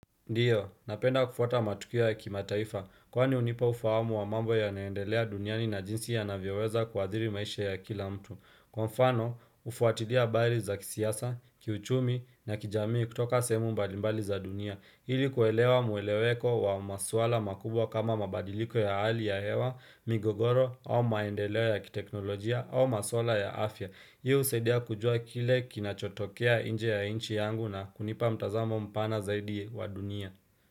Ndiyo, napenda kufuata matukio ya kimataifa, kwani hunipa ufahamu wa mambo yanayoendelea duniani na jinsi yanavyoweza kuadhiri maisha ya kila mtu. Kwa mfano, kufuatilia habari za kisiasa, kiuchumi na kijamii kutoka sehemu mbalimbali za dunia. Ili kuelewa mueleweko wa maswala makubwa kama mabadiliko ya hali ya hewa, migogoro, au maendeleo ya kiteknolojia, au maswala ya afya. Hii husaidia kujua kile kinachotokea nje ya nchi yangu na kunipa mtazamo mpana zaidi wa dunia.